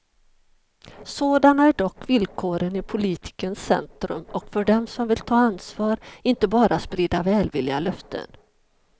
Sådana är dock villkoren i politikens centrum och för dem som vill ta ansvar, inte bara sprida välvilliga löften.